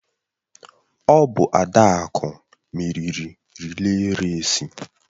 Ọ bụ Adaku meriri rịlè rèsi.